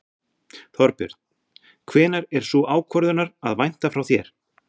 Þorbjörn: Hvenær er sú ákvörðunar að vænta frá þér?